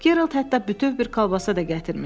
Gerald hətta bütöv bir kolbasa da gətirmişdi.